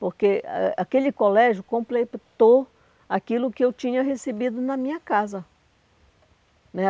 porque a aquele colégio completou aquilo que eu tinha recebido na minha casa né.